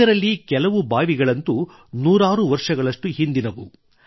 ಇದರಲ್ಲಿ ಕೆಲವು ಬಾವಿಗಳಂತೂ ನೂರಾರು ವರ್ಷಗಳಷ್ಟು ಹಿಂದಿನವು